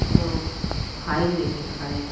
लोग फाइल लेके खड़े हैं।